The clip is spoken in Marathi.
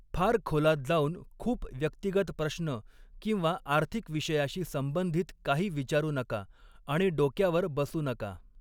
फार खोलात जाऊन खूप व्यक्तिगत प्रश्न किंवा आर्थिक विषयाशी संंबंधित काही विचारू नका आणि डोक्यावर बसू नका.